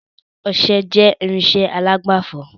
Ọsẹ jẹ irinsẹ́ alágbàfọ̀